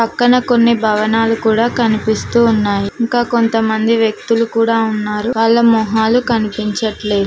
పక్కన కొన్ని భవనాలు కూడా కనిపిస్తూ ఉన్నాయి ఇంకా కొంతమంది వ్యక్తులు కూడా ఉన్నారు వాళ్ళ మొహాలు కనిపించట్లేదు.